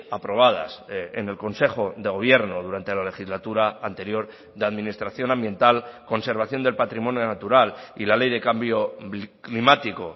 aprobadas en el consejo de gobierno durante la legislatura anterior de administración ambiental conservación del patrimonio natural y la ley de cambio climático